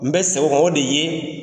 N bɛ segin o kan o de ye,